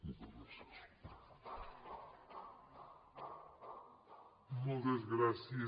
moltes gràcies